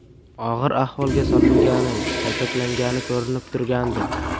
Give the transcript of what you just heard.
Og‘ir ahvolga solingani, kaltaklangani ko‘rinib turgandi.